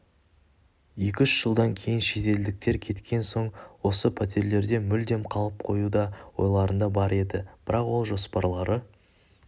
екі-үш жылдан кейін шетелдіктер кеткен соң осы пәтерлерде мүлдем қалып қою да ойларында бар еді бірақ ол жоспарлары